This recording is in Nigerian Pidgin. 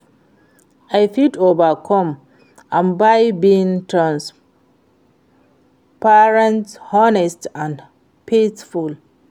i fit overcome am by being transparent, honest and faithful.